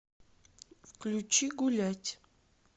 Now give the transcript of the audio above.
включи гулять